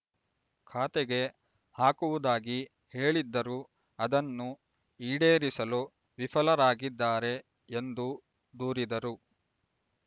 ಖಾತೆಗೆ ಹಾಕುವುದಾಗಿ ಹೇಳಿದ್ದರೂ ಅದನ್ನು ಈಡೇರಿಸಲು ವಿಫಲರಾಗಿದ್ದಾರೆ ಎಂದು ದೂರಿದರು